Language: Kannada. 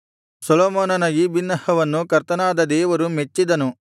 ಸೊಲೊಮೋನನ ಈ ಬಿನ್ನಹವನ್ನು ಕರ್ತನಾದ ದೇವರು ಮೆಚ್ಚಿದನು